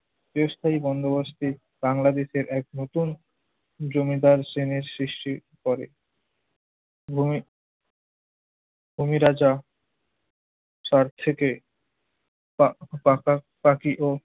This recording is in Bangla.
চিরস্থায়ী বন্দোবস্তের বাংলাদেশের এক নতুন জমিদার শ্রেণির সৃষ্টি করে। ভূমি ভূমি রাজা সার থেকে পা~ পাকাপাকি ও